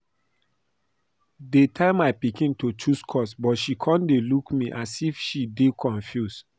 Dey tell my pikin to choose course but she come dey look me a as if she dey confused